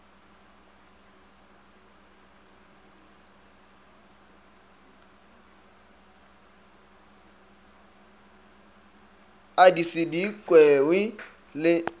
a di se kwewe le